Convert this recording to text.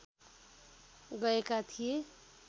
गएका थिए